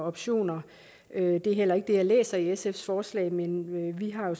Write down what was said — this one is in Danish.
optioner men det er heller ikke det jeg læser i sfs forslag men vi har jo